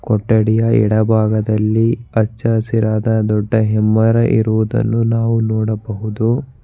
ಕೊಟ್ಟಡಿಯ ಬಲಭಾಗದಲ್ಲಿ ಹಚ್ಚ ಹಸಿರಾದ ದೊಡ್ಡ ಹೆಮ್ಮೆರ ಇರುವುದನ್ನು ನಾವು ನೋಡಬಹುದು.